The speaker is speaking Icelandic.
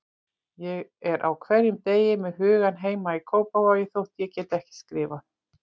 Ég er á hverjum degi með hugann heima í Kópavogi þótt ég geti ekki skrifað.